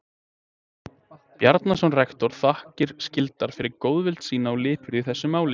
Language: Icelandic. Bjarnason rektor þakkir skyldar fyrir góðvild sína og lipurð í þessu máli.